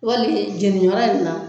Wali jɛniyɔrɔ in na.